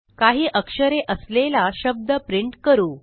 काही अक्षरे असलेला शब्द प्रिंट करू